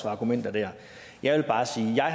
argumenter der jeg vil bare sige at